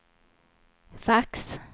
fax